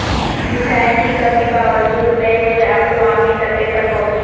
وسائل کی کمی باوجود بین الاقوامی سطح پر پہنچی